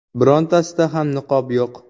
Birontasida ham niqob yo‘q.